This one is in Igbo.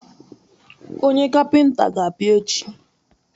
Onye kapịnta ga-abịa echi.